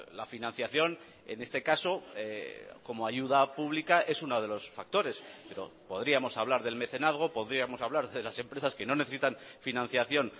la financiación en este caso como ayuda pública es uno de los factores pero podríamos hablar del mecenazgo podríamos hablar de las empresas que no necesitan financiación